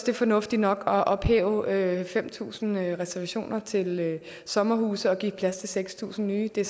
er fornuftigt nok at ophæve fem tusind reservationer til sommerhuse og give plads til seks tusind nye det